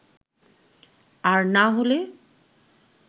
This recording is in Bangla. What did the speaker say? আর না হলে